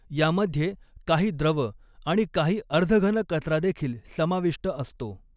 यामध्ये काही द्रव आणि काही अर्धघन कचरा देखील समाविष्ट असतो.